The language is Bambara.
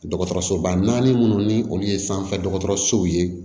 Dɔgɔtɔrɔsoba naani minnu ni olu ye sanfɛ dɔgɔtɔrɔsow ye